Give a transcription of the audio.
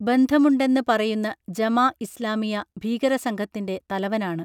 ബന്ധമുണ്ടെന്ന് പറയുന്ന Jemaah Islamiyah ഭീകരസംഘത്തിൻറെ തലവനാണ്